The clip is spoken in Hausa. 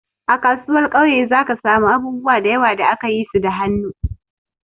A kasuwar kauye za ka samu abubuwa da yawa da aka yi su da hannu.